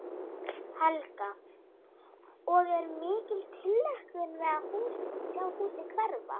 Helga: Og er mikil tilhlökkun við að sjá húsið hverfa?